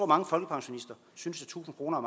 mange folkepensionister synes at tusind kroner